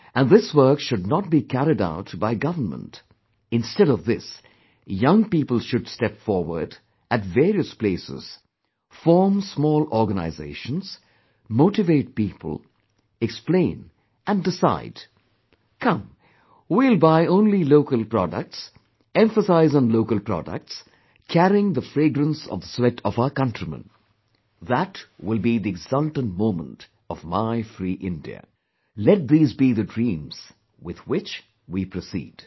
And this work should not be carried out by government, instead of this young people should step forward at various places, form small organizations, motivate people, explain and decide "Come, we will buy only local, products, emphasize on local products, carrying the fragrance of the sweat of our countrymen That will be the exultant moment of my free India; let these be the dreams with which we proceed